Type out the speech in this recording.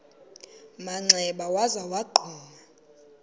manxeba waza wagquma